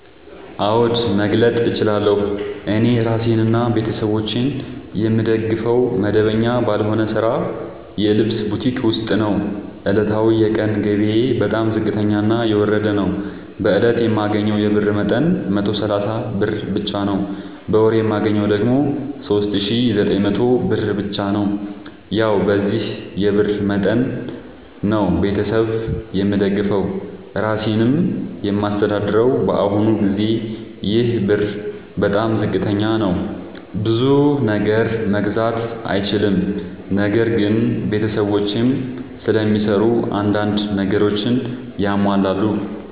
አዎድ መግለጥ እችላለሁ። እኔ እራሴንና ቤተሠቦቼን የምደግፈዉ መደበኛ ባልሆነ ስራ የልብስ ቡቲክ ዉስጥ ነዉ። ዕለታዊ የቀን ገቢየ በጣም ዝቅተኛና የወረደ ነዉ። በእለት የማገኘዉ የብር መጠን 130 ብር ብቻ ነዉ። በወር የማገኘዉ ደግሞ 3900 ብር ብቻ ነዉ። ያዉ በዚህ የብር መጠን መጠን ነዉ። ቤተሠብ የምደግፈዉ እራሴንም የማስተዳድረዉ በአሁኑ ጊዜ ይሄ ብር በጣም ዝቅተኛ ነዉ። ብዙ ነገር መግዛት አይችልም። ነገር ግን ቤተሰቦቼም ስለሚሰሩ አንዳንድ ነገሮችን ያሟላሉ።